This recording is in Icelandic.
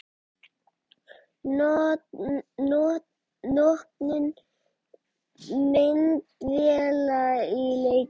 Notkun myndavéla í leikjum?